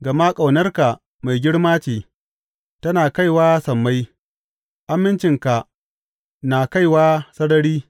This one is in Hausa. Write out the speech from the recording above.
Gama ƙaunarka mai girma ce, tana kaiwa sammai; amincinka na kaiwa sarari.